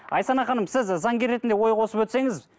айсана ханым сіз заңгер ретінде ой қосып өтсеңіз